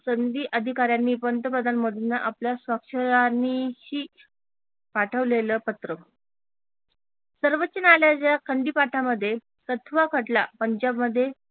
संधी अधिकाऱ्यांनी पंतप्रधान मोदींना आपल्या साक्षर ही पाठवलेल पत्र सर्वोच्च न्यायालयाच्या खंडी पाठामध्ये तत्व खटला पंजाबमध्ये